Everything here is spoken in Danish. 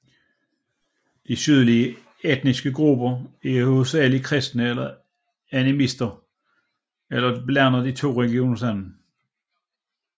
De sydlige etniske grupper er hovedsageligt kristne eller animister eller blander de to religioner sammen